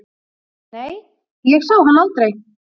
Nei, ég sá hann aldrei.